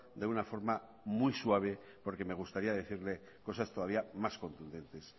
de una forma muy suave porque me gustaría decirle cosas todavía más contundentes